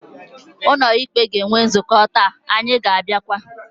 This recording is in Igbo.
Ụlọ ikpe ga-enwe nzukọ taa, anyị ga-agakwa.